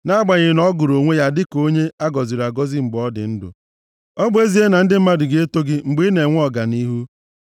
Nʼagbanyeghị na ọ gụrụ onwe ya dịka onye a gọziri agọzi mgbe ọ dị ndụ, ọ bụ ezie na ndị mmadụ na-eto gị mgbe ị na-enwe ọganihu,